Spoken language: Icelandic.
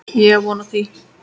Ég á von á því.